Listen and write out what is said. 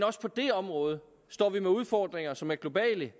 også på det område står vi med udfordringer som er globale